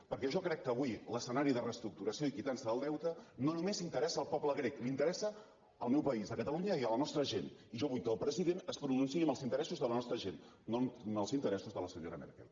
perquè jo crec que avui l’escenari de reestructuració i quitança del deute no només interessa el poble grec interessa el meu país catalunya i la nostra gent i jo vull que el president es pronunciï en els interessos de la nostra gent no en els interessos de la senyora merkel